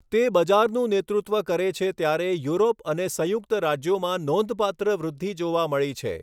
તે બજારનું નેતૃત્વ કરે છે ત્યારે યુરોપ અને સંયુક્ત રાજ્યોમાં નોંધપાત્ર વૃદ્ધિ જોવા મળી છે.